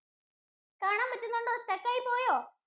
കാണാന്‍ പറ്റുന്നുണ്ടോ? Stuck ആയിപ്പോയോ?